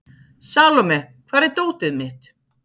Salome, hvar er dótið mitt?